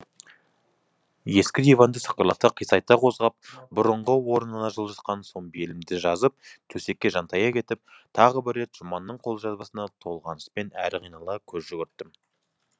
ескі диванды сықырлата қисайта қозғап бұрынғы орнына жылжытқан соң белімді жазып төсекке жантая кетіп тағы бір рет жұманның қолжазбасына толғаныспен әрі қинала көз жүгірттім